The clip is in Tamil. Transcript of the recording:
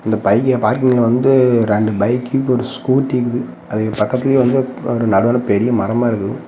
இந்த பய்ய பார்க்கிங்ல வந்து ரெண்டு பைக் ஒரு ஸ்கூட்டி இக்குது அதுக்கு பக்கத்துலயே வந்து நடுவுல பெரிய மரமா இருக்குது.